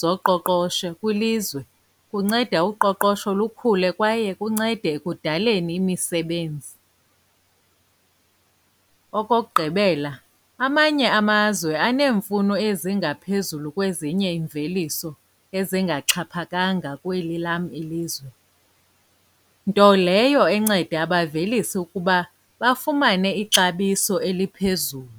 zoqoqosho kwilizwe, kunceda uqoqosho lukhule kwaye kuncede ekudaleni imisebenzi. Okokugqibela, amanye amazwe aneemfuno ezingaphezulu kwezinye iimveliso ezingaxhaphakanga kweli lam ilizwe, nto leyo enceda abavelisi ukuba bafumane ixabiso eliphezulu.